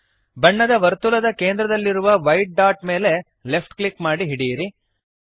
ಬಣ್ಣದ ವರ್ತುಲದ ಕೇಂದ್ರದಲ್ಲಿರುವ ವೈಟ್ ಡಾಟ್ ಮೇಲೆ ಲೆಫ್ಟ್ ಕ್ಲಿಕ್ ಮಾಡಿ ಹಿಡಿಯಿರಿ